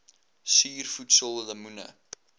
suur voedsel lemoene